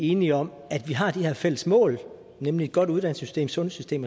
enige om at vi har de her fælles mål nemlig et godt uddannelsessystem sundhedssystem